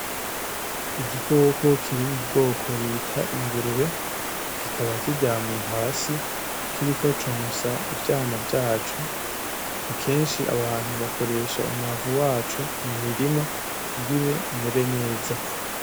Igikoko kiri mu bwoko bita ingurube kikaba kiryamye hasi kiriko consa ivyana vyaco, kenshi abantu bakoresha umwavu waco mu mirima kugire imere neza.